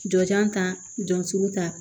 Jɔ kan jɔn sugu ta